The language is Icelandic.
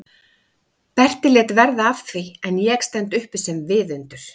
Berti lét verða af því en ég stend uppi sem viðundur?